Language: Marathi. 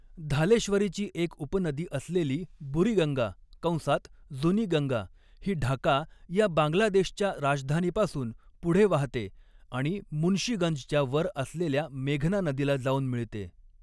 धालेश्वरीची एक उपनदी असलेली बुरिगंगा कंसात 'जुनी गंगा' ही ढाका या बांगलादेशच्या राजधानीपासून पुढे वाहते आणि मुन्शीगंजच्या वर असलेल्या मेघना नदीला जाऊन मिळते.